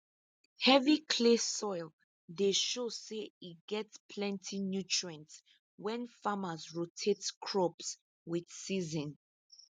heavy clay soil dey show say e get plenty nutrients when farmers rotate crops with season